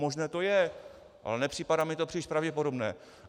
Možné to je, ale nepřipadá mi to příliš pravděpodobné.